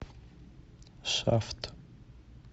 шафт